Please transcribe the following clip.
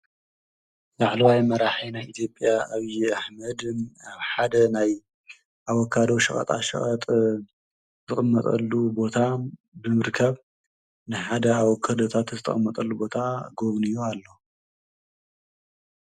ላዕለዋይ መራሒ ናይ ኢትዮጵያ ኣብይ ኣሕመድ ሓደ ናይ ኣቨካዶ ሸቀጣ ሸቀጥ ዝቅመጠሉ ቦታ ንምርካብ ንሓደ ኣብ ክእለታት ዝተቀመጠሉ ቦታ ጎብንዩ ኣሎ ።